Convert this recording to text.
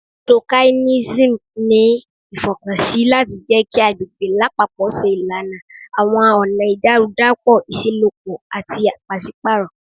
Socailism ni ifọkansi lati jẹ ki agbegbe lapapọ ṣe ilana awọn ọna idarudapọ iṣelọpọ ati paṣipaarọ